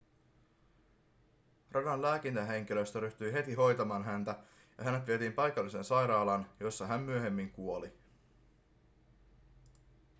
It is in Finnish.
radan lääkintähenkilöstö ryhtyi heti hoitamaan häntä ja hänet vietiin paikalliseen sairaalaan jossa hän myöhemmin kuoli